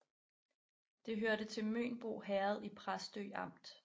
Det hørte til Mønbo Herred i Præstø Amt